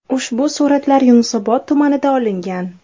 Ushbu suratlar Yunusobod tumanida olingan.